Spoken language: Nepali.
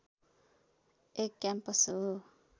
एक क्याम्पस हो